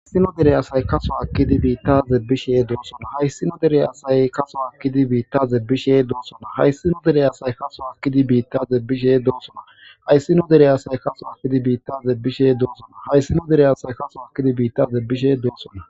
Hayssino dere aasay kaso akkidi biittaaze bishe doosona hayssino derey asay kaso akkidi biittaze bishe doosona hayssino derey asay kaso akkidi biittaze bishe doosona hayssino derey aasay kaso akidi biittaze bishe doosona hayssino derey asay kaso akkidi biittaze bishe doosona